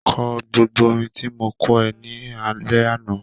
Kọ gbogbo orin tí mo kọ́ ẹ ní alẹ́ àná.